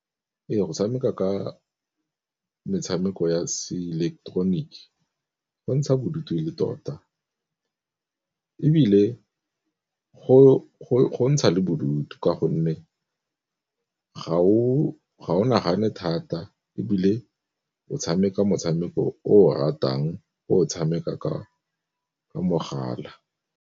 Ee go tshameka ka metshameko ya se ileketeroniki go ntsha bodutu le tota, ebile go ntsha bodutu ka gonne ga o nagane thata ebile o tshameka motshameko o o ratang o tshameka ka mogala.